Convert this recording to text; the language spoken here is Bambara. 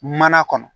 Mana kɔnɔ